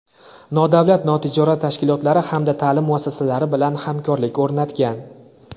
nodavlat notijorat tashkilotlari hamda ta’lim muassasalari bilan hamkorlik o‘rnatgan.